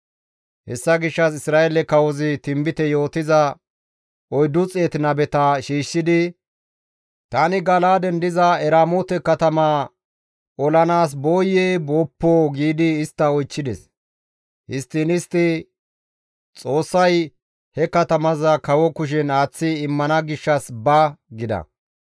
Hessa gishshas Isra7eele kawozi tinbite yootiza 400 nabeta shiishshidi, «Tani Gala7aaden diza Eramoote katamaa olanaas booyee booppoo?» giidi istta oychchides. Histtiin istti, «Xoossay he katamaza kawo kushen aaththi immana gishshas ba!» gida.